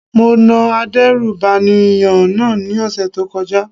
Mo na adérùbànìyàn náà ní ọ̀sẹ̀ tó kọjá.